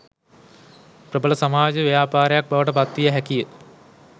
ප්‍රබල සමාජ ව්‍යාපාරයක් බවට පත් විය හැකිය